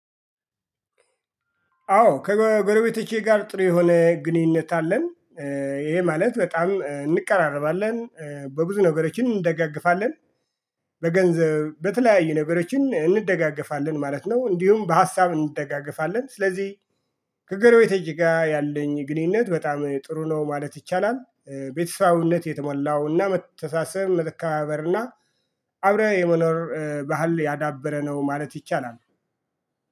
አዎ ከጎረቤቶቼ ጋር ጥሩ የሆነ ግንኙነት አለን። ይሄ ማለት በጣም እንቀራረባለን በብዙ ነገሮችን እንደጋገፋለን። በገንዘብ በተለያዩ ነገሮችን እንደጋገፋለን ማለት ነው። እንዲሁም በሀሳብ እንደጋገፋለን። ስለዚህ ከጎረቤቶቼጋ ያለኝ ግንኙነት በጣም ጥሩ ነው ማለት ይቻላል ቤተሰባዊነት የተሞላውና መተሳሰብ መከባበር እና አብረህ የመኖር ባህል ያዳበረ ነው ማለት ይቻላል።